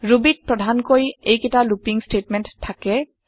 Rubyত প্ৰধানকৈ এইকেইটা লুপিং ষ্টেটমেণ্ট থাকে